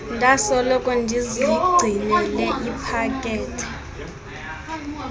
ndasoloko ndizigcinele ipakethe